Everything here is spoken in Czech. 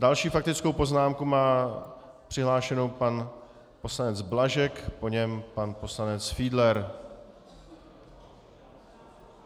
Další faktickou poznámku má přihlášenou pan poslanec Blažek, po něm pan poslanec Fiedler.